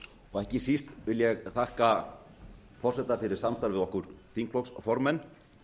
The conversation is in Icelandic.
og ekki síst vil ég þakka forseta fyrir samstarfið við okkur þingflokksformenn